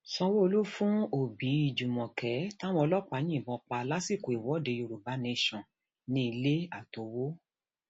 sanwóolu um fún òbí fún òbí júmọkè táwọn um ọlọpàá yìnbọn pa lásìkò ìwọde yorùbá nation ní ilé àtowó